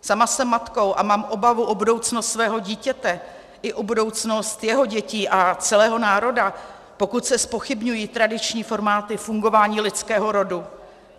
Sama jsem matkou a mám obavu o budoucnost svého dítěte i o budoucnost jeho dětí a celého národa, pokud se zpochybňují tradiční formáty fungování lidského rodu.